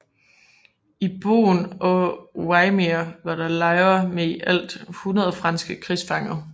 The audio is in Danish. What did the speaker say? I Boen og Wymeer var der lejre med i alt 100 franske krigsfanger